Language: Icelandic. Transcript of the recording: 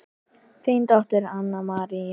Þín dóttir Anna María.